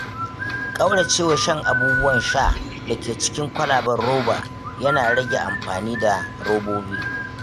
ƙaurace wa shan abubuwan sha da ke cikin kwalaben roba yana rage amfani da robobi.